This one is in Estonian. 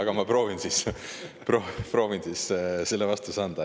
Aga ma proovin siis selle vastuse anda.